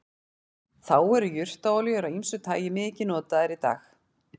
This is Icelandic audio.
þá eru jurtaolíur af ýmsu tagi mikið notaðar í dag